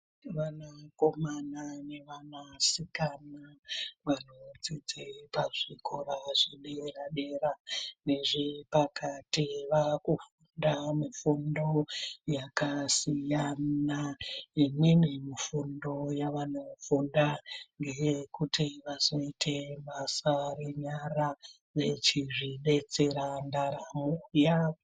Vanakomana nevanasikana vanodzidze pazvikora zvedera dera nezvepakati vakufunda mifundo yakasiyana, imweni mifundo yavanofunda ndeyekuti vazoite basa renyara vechizvidetsera ndaramo yavo.